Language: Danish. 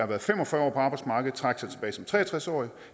været fem og fyrre år på arbejdsmarkedet trække sig tilbage som tre og tres årige